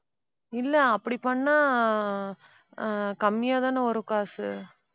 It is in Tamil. இல்ல அப்படி பண்ணா அஹ் ஆஹ் கம்மியா தான வரும் காசு